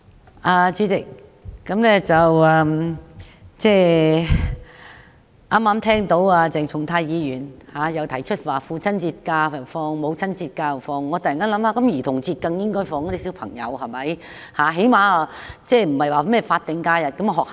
代理主席，剛才聽到鄭松泰議員提出父親節及母親節翌日應該放假，我便突然想到小朋友在兒童節更應該放假。